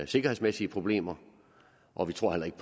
sikkerhedsmæssige problemer og vi tror heller ikke